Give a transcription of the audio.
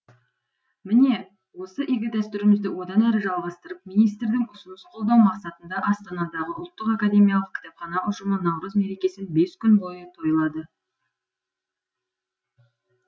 міне осы игі дәстүрімізді одан әрі жалғастырып министрдің ұсыныс қолдау мақсатында астанадағы ұлттық академиялық кітапхана ұжымы наурыз мерекесін бес күн бойы тойлады